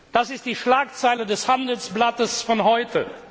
Das ist die Schlagzeile des Handelsblatts von heute.